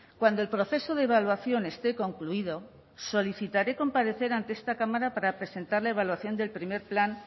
cuando el proceso de evaluación esté concluido solicitaré comparecer ante esta cámara para presentar la evaluación del primer plan